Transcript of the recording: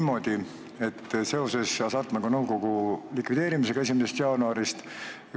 Küsin seoses Hasartmängumaksu Nõukogu likvideerimisega 1. jaanuarist.